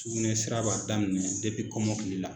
Sugunɛ sira b'a daminɛ de kɔmɔkili la